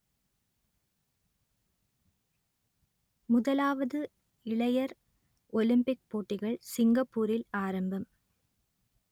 முதலாவது இளையர் ஒலிம்பிக் போட்டிகள் சிங்கப்பூரில் ஆரம்பம்